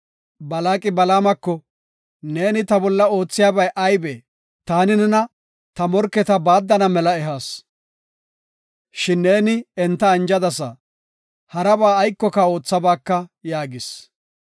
Balaaqi Balaamako, “Neeni ta bolla oothiyabay aybee? Taani nena ta morketa baaddana mela ehas, shin neeni enta anjadasa; haraba aykoka oothabaaka” yaagis.